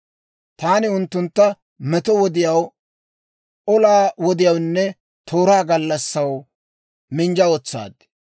Taani unttuntta meto wodiyaw, olaa wodiyaawunne tooraa gallassaw minjja wotsaad.